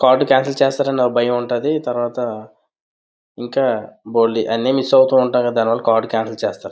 Card cancel చేసేస్తారేమోనని భయం ఉంటాది.తర్వాత ఇంకా బోల్డు అన్నీ మిస్ అవుతూ ఉంటాయి కదా దానివల్ల కార్డు క్యాన్సిల్ చేస్తారు.